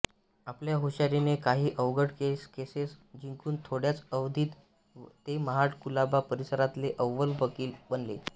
आपल्या हुशारिने काहि अवघड केसेस जिंकुन थोड्याच अवधित ते महाड कुलाबा परिसरातले अव्वल वकिल बनले